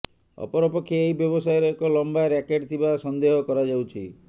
ଅପରପକ୍ଷେ ଏହି ବ୍ୟବସାୟର ଏକ ଲମ୍ବା ର୍ୟାକେଟ୍ ଥିବା ସନେ୍ଦହ କରାଯାଉଛି